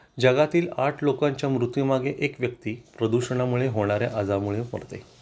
जगातील आठ लोकांच्या मृत्यू मागे एक व्यक्ती प्रदूषणा मुळे होणाऱ्या आजारामुळे मरते